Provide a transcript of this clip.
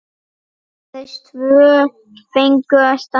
Aðeins tvö fengu að standa.